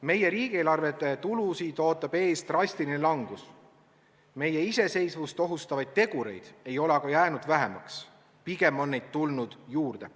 Meie riigieelarvete tulusid ootab ees drastiline langus, meie iseseisvust ohustavaid tegureid ei ole aga jäänud vähemaks, pigem on neid tulnud juurde.